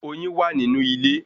Oyin wa nínú ilé